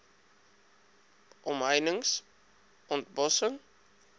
omheinings ont bossing